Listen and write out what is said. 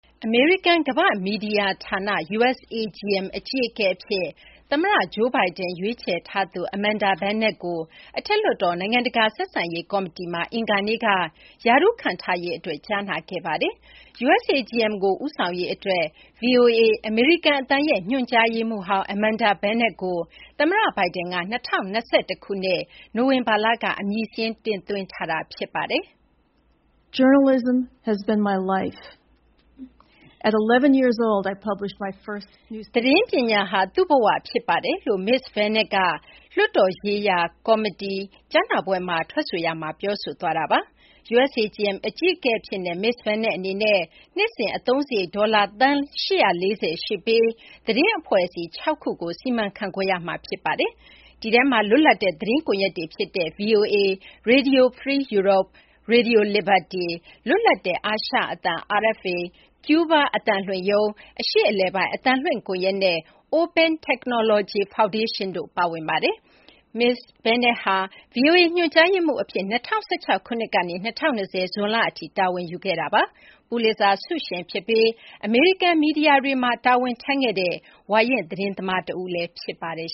အမေရိကန် ကမ ္ဘာ့မီဒီယာ ဌာန USAGM အကြီးအကဲ အဖြစ် သမ္မတ Joe Biden ရွေးချယ်ထားသူ Amanda Bennett ကို အထက်လွှတ်တော် နိုင်ငံတကာ ဆက်ဆံရေး ကော်မတီမှာ အင်္ဂါနေ့က ရာထူးခန့်ထားရေးအတွက် ကြားနာခဲ့ပါတယ်။ USAGM ကို ဦးဆောင်ရေး အတွက် VOA - အမေရိကန် အသံရဲ့ ညွှန်ကြားရေးမှူးဟောင်း Amanda Bennett ကို သမ္မတ Biden က ၂၀၂၁ ခုနှစ် နိုဝင်ဘာလက အမည်စာရင်းတင်သွင်းထားတာပါ။ သတင်းပညာဟာ သူ့ဘ၀ ဖြစ်ပါတယ်လို့ မစ္စ Bennett က လွှတ်တော်ရေးရာ ကော်မတီ ကြားနာပွဲမှာ ထွက်ဆိုရာမှာ ပြောဆိုသွားတာပါ။ USAGM အကြီးအကဲအဖြစ်နဲ့ မစ္စ Bennett အနေနဲ့ နှစ်စဉ် အသုံးစာရိတ် ဒေါ်လာ သန်း ၈၄၀ ရှိပြီး သတင်းအဖွဲ့အစည်း ၆ ခုကို စီမံခန့်ခွဲရမှာ ဖြစ်ပါတယ်။ ဒီထဲမှာ လွတ်လပ်တဲ့ သတင်းကွန်ရက်တွေ ဖြစ်တဲ့ VOA၊ Radio Free Europe/Radio Liberty၊ လွတ်လပ်တဲ့ အာရှအသံ- RFA၊ ကျူးဘား အသံလွှင့်ရုံး၊ အရှေ့အလယ်ပိုင်း အသံလွှင့် ကွန်ရက်၊ နဲ့ Open Technology Foundation တို့ ပါဝင်ပါတယ်။ မစ္စ Bennett ဟာ VOA ညွှန်ကြားရေးမှူး အဖြစ် ၂၀၁၆ ခုနှစ်ကနေ ၂၀၂၀ ဇွန်လ အထိ တာဝန်ယူခဲ့တာပါ။ ပူလစ်ဇာ ဆုရှင် ဖြစ်ပြီး အမေရိကန် မီဒီယာတွေမှာ ဝါရင့် သတင်းသမား တဦးလည်း ဖြစ်ပါတယ်